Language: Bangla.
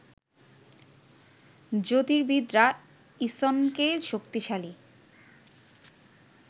জ্যোতির্বিদরা ইসনকে শক্তিশালী